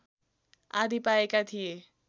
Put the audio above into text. आदि पाएका थिए